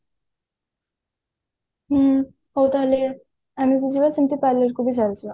ହୁଁ ହଉ ତାହେଲେ ଆମେ ଯିବା ସେମତି parlor କୁ ବି ଚାଲିଯିବା